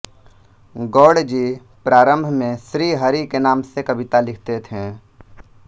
गौड़ जी प्रारम्भ में श्री हरि के नाम से कविता लिखते थे